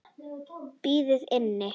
Opið inn!